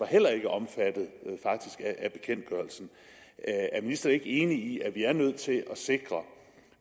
heller ikke omfattet af bekendtgørelsen er ministeren ikke enig i at vi er nødt til at sikre